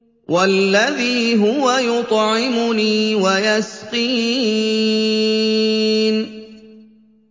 وَالَّذِي هُوَ يُطْعِمُنِي وَيَسْقِينِ